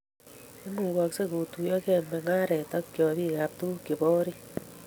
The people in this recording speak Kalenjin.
Imukoksei kutuiyogei mengaret ak chopikab tuguk che bo orit